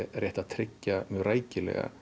rétt að tryggja rækilega